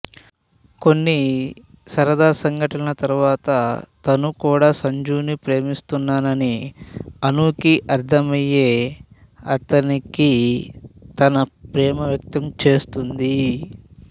కొన్ని సరదా సంఘటనల తరువాత తను కూడా సంజూని ప్రేమిస్తున్నానని అనూకి అర్ధమై అతనికి తన ప్రేమ వ్యక్తం చేస్తుంది